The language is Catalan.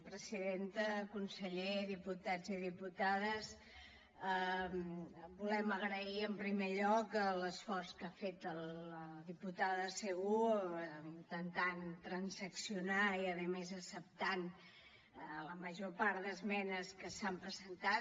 presidenta conseller diputats i diputades volem agrair en primer lloc l’esforç que ha fet la diputada segú intentant transaccionar i a més acceptant la major part d’esmenes que s’han presentat